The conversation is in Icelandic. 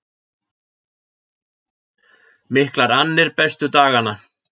Miklar annir bestu dagana